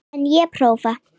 En ég prófa.